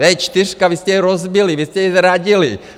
Vé čtyřka, vy jste je rozbili, vy jste je zradili!